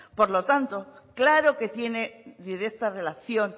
por lo tanto claro que tienen directa relación